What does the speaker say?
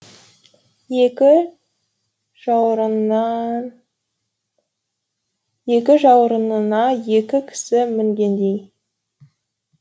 екі жауырынына екі кісі мінгендей